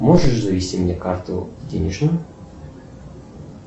можешь завести мне карту денежную